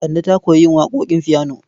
Kande ta koyi yin waƙoƙin fiyano.